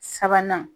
Sabanan